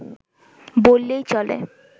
বললেই চলে